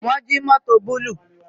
Wọn jí mótò búlúù